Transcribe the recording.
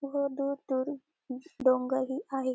बहोत दूर दूर डोंगर ही आहे.